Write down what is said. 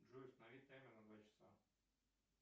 джой установи таймер на два часа